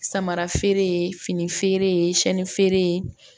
Samara feere fini feere ye feere